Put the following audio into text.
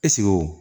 Ɛseke o